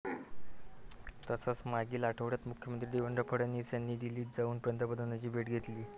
तसंच मागील आठवड्यात मुख्यमंत्री देवेंद्र फडणवीस यांनी दिल्लीत जाऊन पंतप्रधानांची भेट घेतली.